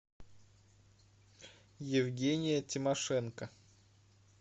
евгения тимошенко